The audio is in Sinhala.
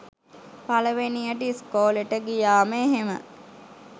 පළවෙනියට ඉස්කෝලෙට ගියාම එහෙම